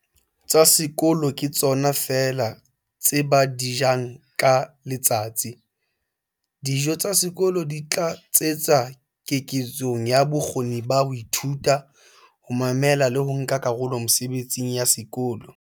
"tsa sekolo ke tsona feela tseo ba di jang ka letsatsi. Dijo tsa sekolo di tlatsetsa keketsong ya bokgoni ba ho ithuta, ho mamela le ho nka karolo mesebetsing ya sekolo".